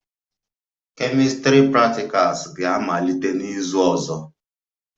Chemistry practicals ga-amalite n'izu ọzọ